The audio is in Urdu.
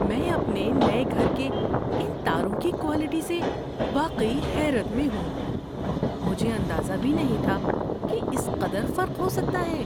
میں اپنے نئے گھر کے ان تاروں کی کوالٹی سے واقعی حیرت میں ہوں۔ مجھے اندازہ بھی نہیں تھا کہ اس قدر فرق ہو سکتا ہے!